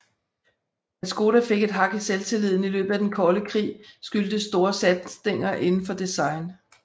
At Škoda fik et hak i selvtilliden i løbet af den kolde krig skyldtes store satsninger inden for design